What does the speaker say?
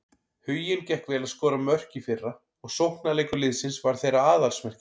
Huginn gekk vel að skora mörk í fyrra og sóknarleikur liðsins var þeirra aðalsmerki.